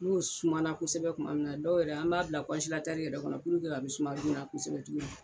N'u sumana kosɛbɛ kuma min na dɔw yɛrɛ an b'a bila yɛrɛ kɔnɔ puruke a bɛ suma joona kosɛbɛ cogo min na.